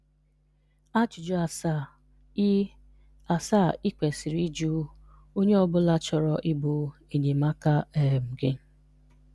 Ajụjụ asaa ị asaa ị kwesịrị ịjụ onye ọ bụla chọrọ ịbụ enyemaka um gị